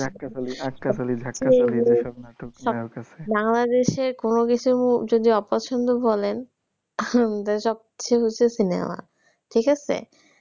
বাংলাদেশের কোনোকিছু যদি অপছন্দ বলেন আহ সবচেয়ে বেশি হচ্ছে cinema ঠিক আছে।